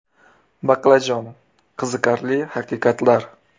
Baqlajon: qiziqarli haqiqatlar.